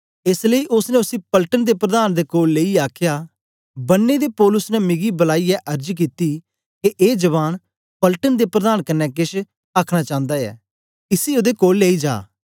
एस लेई ओसने उसी पलटन दे प्रधान दे कोल लेईयै आखया बन्नें दे पौलुस ने मिकी बलाईयै अर्ज कित्ती के ए जवान पलटन दे प्रधान कन्ने केछ आखन चांदा ऐ इसी ओदे कोल लेई जा